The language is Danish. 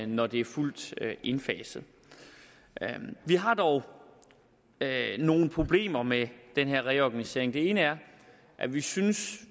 når det er fuldt indfaset vi har dog nogle problemer med den her reorganisering det ene er at vi synes